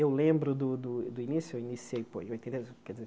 Eu lembro do do do início, eu iniciei, pô em quer dizer